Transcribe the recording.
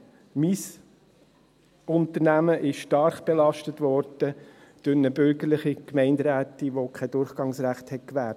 Mein Unternehmen ist stark belastet worden durch eine bürgerliche Gemeinderätin, die kein Durchgangsrecht gewährte.